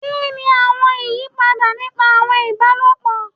Kini awọn iyipada nipa awọn ibalopọ?